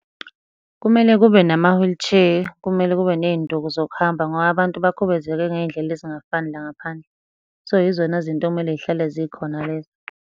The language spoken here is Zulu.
Kumele kube nama-wheelchair, kumele kube ney'nduku zokuhamba, ngoba abantu bakhubazeke ngey'ndlela ezingafani la ngaphandle. So, yizona zinto ekumele zihlale zikhona lezo.